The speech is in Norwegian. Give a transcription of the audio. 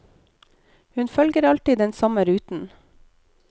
Hun følger alltid den samme ruten.